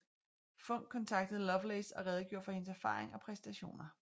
Funk kontaktede Lovelace og redegjorde for hendes erfaring og præstationer